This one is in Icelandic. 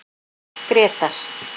Grétar